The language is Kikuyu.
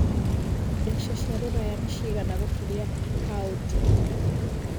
mbeca cia rũraya nĩ cigana gũkĩria paũndi